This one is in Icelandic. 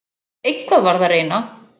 Eitthvað varð að reyna.